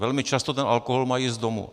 Velmi často ten alkohol mají z domu.